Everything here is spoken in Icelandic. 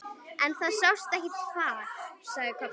En það sást ekkert far, sagði Kobbi.